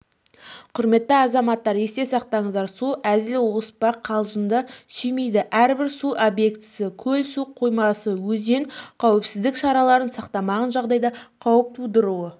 құрметті азаматтар есте сақтаңыздар су әзіл-оспақ қалжынды сүймейді әрбір су объектісі көл су қоймасы өзен қауіпсіздік шараларын сақтамаған жағдайда қауіп тудыруы